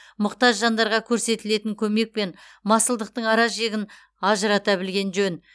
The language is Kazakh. мұқтаж жандарға көрсетілетін көмек пен масылдықтың ара жігін ажырата білген жөн